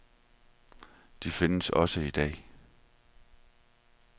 De findes også i dag.